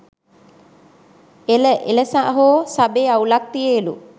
එල එලසහෝ සබෙ අවුලක් තියෙලු